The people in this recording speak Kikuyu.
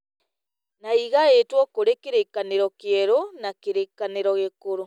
Na ĩgaĩtwo kũrĩ kĩrĩkanĩro kĩerũ na kĩrĩkanĩro gĩkũrũ